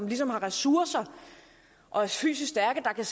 ligesom har ressourcer og er fysisk stærke der kan